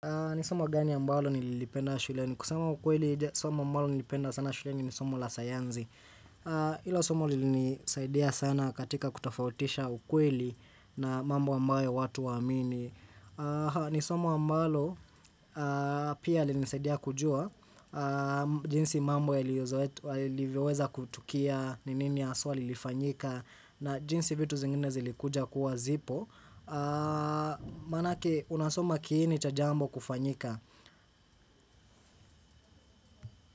Ni somo gani ambalo nilipenda shuleni? Kusema ukweli, somo ambalo nilipenda sana shuleni ni somo la sayanzi. Ilo somo lilinisaidia sana katika kutofautisha ukweli na mambo ambayo watu hawaamini. Ni somo ambalo, pia lilinisaidia kujua, jinsi mambo yaliyozoe yalivyoweza kutukia, ni nini haswa lilifanyika, na jinsi vitu zingine zilikuja kuwa zipo. Manake unasoma kiini cha jambo kufanyika.